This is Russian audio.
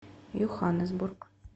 йоханнесбург